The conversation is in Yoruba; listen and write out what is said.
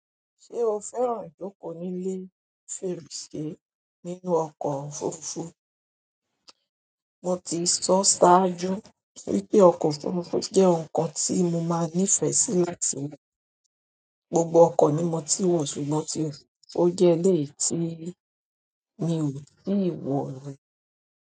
Ṣé o fẹ́ràn jókòó nilé fèrèsé nínú ọkọ̀ òfu? Mo ti sọ o sáájú wípé ọkọ̀ òfurufú jẹ́ ohun kan tí mo máa nífẹ̀ẹ́ sí láti. Gbogbo ọkọ̀ ni mo ti wọ̀ ṣùgbọ́n ti ó jẹ́ eléyii tí mi ò tíì wọ ri.